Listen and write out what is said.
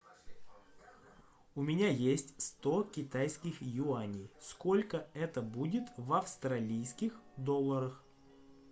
у меня есть сто китайских юаней сколько это будет в австралийских долларах